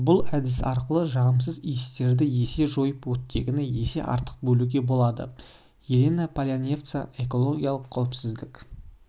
бұл әдіс арқылы жағымсыз иістерді есе жойып оттегіні есе артық бөлуге болады елена полянцева экологиялық қауіпсіздік